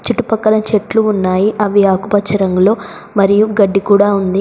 అటుపక్కన చెట్లు ఉన్నాయి అవి ఆకుపచ్చ రంగులో మరియు గడ్డి కూడా ఉంది.